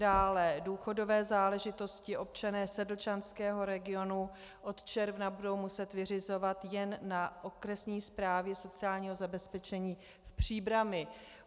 Dále - důchodové záležitosti občané sedlčanského regionu od června budou muset vyřizovat jen na Okresní správě sociálního zabezpečení v Příbrami.